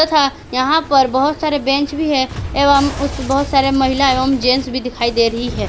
तथा यहां पर बहुत सारे बेंच भी है एवं उसमें बहुत सारे महिला एवं जेंट्स भी दिखाई दे रही है।